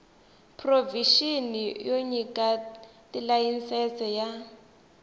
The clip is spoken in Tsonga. provixini yo nyika tilayisense ya